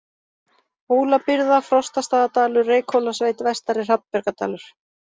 Hólabyrða, Frostastaðadalur, Reykhólasveit, Vestari-Hrafnbjargardalur